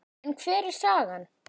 En hver er sagan?